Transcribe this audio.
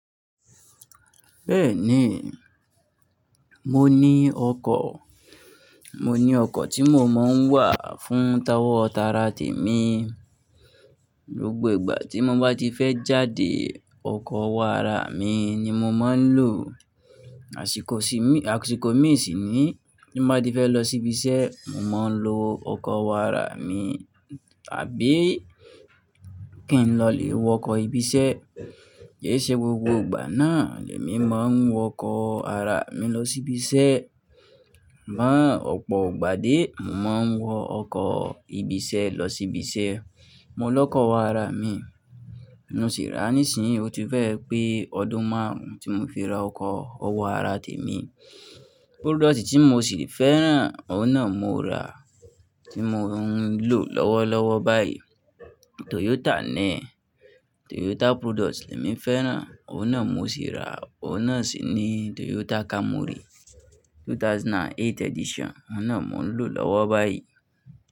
Bẹ́ẹ̀ni, mo ní ọkọ̀, mo ní ọkọ̀ tí mo máa ń wà fún tawọ́ tara tèmi. Gbógbo ìgbà tí mo bá ti fẹ́ jáde, ọkọ̀ owo àrà mi ni mo máa ń lò. Àsìkò sì mí, àsìkò mí sì ni tí mo bá ti fẹ́ lọ síbi iṣẹ́, mo máa ń lo ọkọ̀ owo àrà mi, àbí kí n lọ lè wọ ọkọ̀ ibi iṣẹ́. Kì í ṣe gbogbo ìgbà náà ni èmi máa ń wọ ọkọ̀ ará mi lọ sí ibi iṣẹ́. Mọ́ ọ̀pọ̀ ìgbà dé, mo máa ń wọ ọkọ̀ ibi iṣẹ́ lọ sí ibi iṣẹ́. Mo lọ́kọ̀ owo àrà mi, mo sì rà á. Nísìnyí o ti fẹ́ẹ̀ pé ọdún márùn-ún tí mo fi ra ọkọ̀, ó wàrà tèmi. Product tí mo sì fẹ́ rà, òun náà mo rà, tí mo ń lò lọ́wọ́lọ́wọ́ báyìí. Toyota ni, Toyota product ni èmi fẹ́ràn, òun náà mo sì ra, òun náà sì ni Toyota Camry 2008 edition, òun náà mo ń lò lọ́wọ́ báyìí.